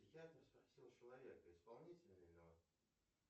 человек исполнительный